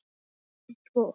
Ekki svo.